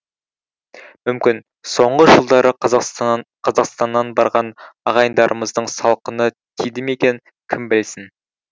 мүмкін соңғы жылдары қазақстаннан барған ағайындарымыздың салқыны тиді ме екен кім білсін